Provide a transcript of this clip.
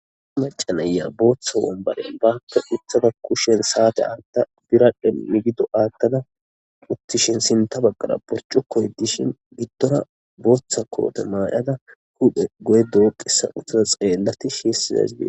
aa macanaya booththa wombare bakka ithada kushen saate aatta birahdhe migido aattada uttishin sinta baggara porco koy dishin giddora booththa koote maayada hudhe go7e dooqissa uttada xeellati shiessizazdie